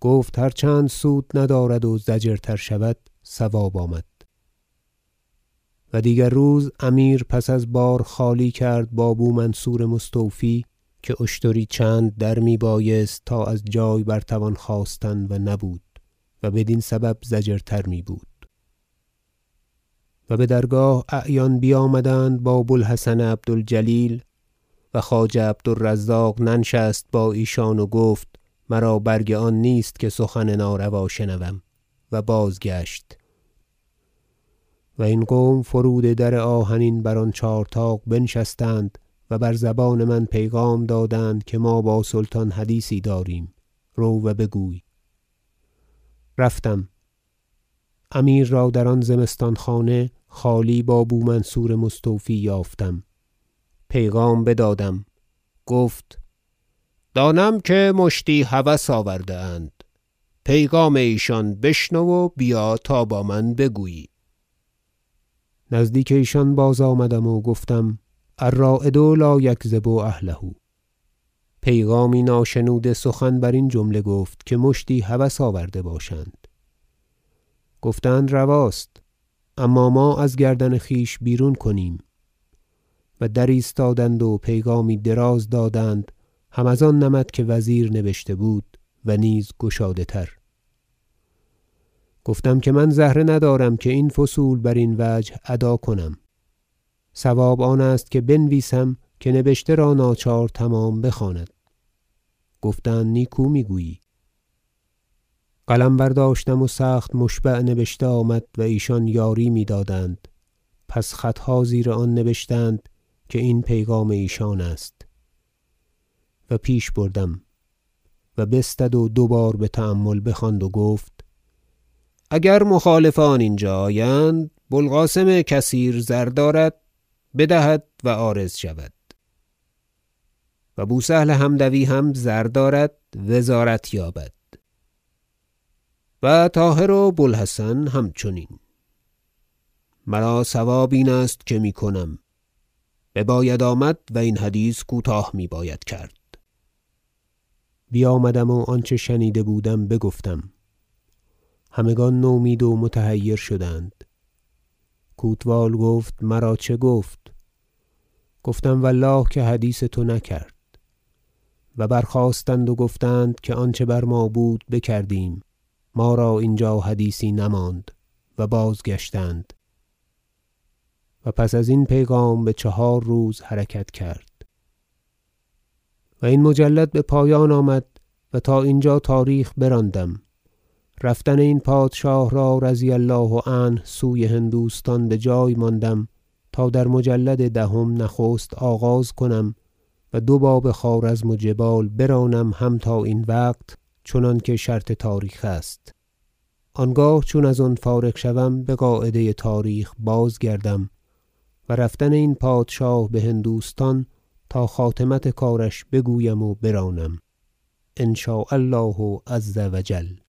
گفت هر چند سود ندارد و ضجرتر شود صواب آمد و دیگر روز امیر پس از بار خالی کرد با بو منصور مستوفی که اشتری چند در میبایست تا از جای بر توان خاستن و نبود و بدین سبب ضجرتر میبود و بدرگاه اعیان بیامدند با بو الحسن عبد الجلیل و خواجه عبد الرزاق ننشست با ایشان و گفت مرا برگ آن نیست که سخن ناروا شنوم و بازگشت و این قوم فرود در آهنین بر آن چهار طاق بنشستند و بر زبان من پیغام دادند که ما با سلطان حدیثی داریم رو و بگوی رفتم امیر را در آن زمستان خانه خالی با بو منصور مستوفی یافتم پیغام بدادم گفت دانم که مشتی هوس آورده اند پیغام ایشان بشنو و بیا تا با من بگویی نزدیک ایشان باز آمدم و گفتم الراید لا یکذب اهله پیغامی ناشنوده سخن برین جمله گفت که مشتی هوس آورده باشند گفتند رواست اما ما از گردن خویش بیرون کنیم و در ایستادند و پیغامی دراز دادند هم از آن نمط که وزیر نبشته بود و نیز گشاده تر گفتم که من زهره ندارم که این فصول برین وجه ادا کنم صواب آن است که بنویسم که نبشته را ناچار تمام بخواند گفتند نیکو میگویی قلم برداشتم و سخت مشبع نبشته آمد و ایشان یاری میدادند پس خطها زیر آن نبشتند که این پیغام ایشان است و پیش بردم و بستد و دوبار بتأمل بخواند و بگفت اگر مخالفان اینجا آیند بو القاسم کثیر زر دارد بدهد و عارض شود و بو سهل حمدوی هم زر دارد وزارت یابد و طاهر و بو الحسن همچنین مرا صواب این است که میکنم بباید آمد و این حدیث کوتاه میباید کرد بیامدم و آنچه شنیده بودم بگفتم همگان نومید و متحیر شدند کوتوال گفت مرا چه گفت گفتم و الله که حدیث تو نکرد و برخاستند و گفتند که آنچه بر ما بود بکردیم ما را اینجا حدیثی نماند و بازگشتند و پس ازین پیغام بچهار روز حرکت کرد و این مجلد بپایان آمد و تا اینجا تاریخ براندم رفتن این پادشاه را رضی الله عنه سوی هندوستان بجای ماندم تا در مجلد دهم نخست آغاز کنم و دو باب خوارزم و جبال برانم هم تا این وقت چنانکه شرط تاریخ است آنگاه چون از آن فارغ شوم بقاعده تاریخ باز گردم و رفتن این پادشاه بهندوستان تا خاتمت کارش بگویم و برانم ان شاء الله عز و جل